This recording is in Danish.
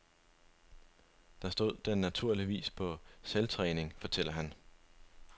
Der stod den naturligvis på selvtræning, fortæller han.